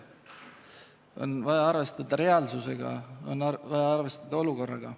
On vaja arvestada reaalsusega, on vaja arvestada olukorraga.